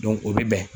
o bɛ bɛn